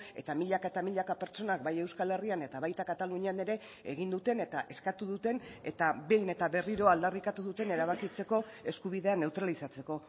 eta milaka eta milaka pertsonak bai euskal herrian eta baita katalunian ere egin duten eta eskatu duten eta behin eta berriro aldarrikatu duten erabakitzeko eskubidea neutralizatzeko